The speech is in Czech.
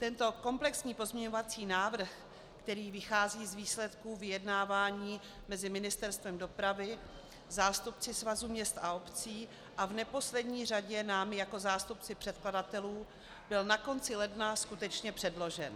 Tento komplexní pozměňovací návrh, který vychází z výsledků vyjednávání mezi Ministerstvem dopravy, zástupci Svazu měst a obcí a v neposlední řadě námi jako zástupci předkladatelů byl na konci ledna skutečně předložen.